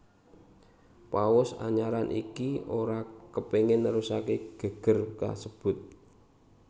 Paus anyaran iki ora kepingin nerusake geger kasebut